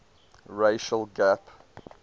racial gap